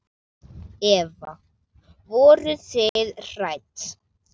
Eva: Voruð þið hrædd?